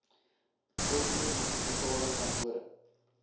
volgende munisipale kantore